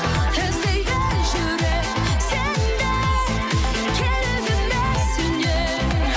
іздейді жүрек сені керек емес сеннен